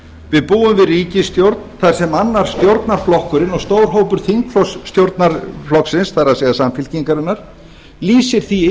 við búum við ríkisstjórn þar sem annar stjórnarflokkurinn og stór hópur þingflokks stjórnarflokksins það er samfylkingarinnar lýsir því